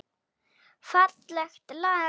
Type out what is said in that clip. Fallegt lag.